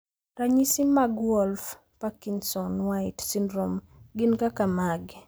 Ranyisi mag Wolff Parkinson White syndrome gin kaka mage?